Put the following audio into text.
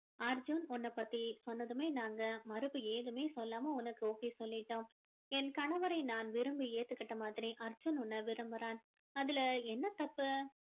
அர்ஜுன் உன்ன பத்தி சொன்னதுமே நாங்க மறுப்பு ஏதுமே சொல்லாம உனக்கு okay சொல்லிட்டோம் என் கணவரை நான் விரும்பி ஏத்துக்கிட்ட மாதிரி அர்ஜுன் உன்னை விரும்புறான் அதுல என்ன தப்பு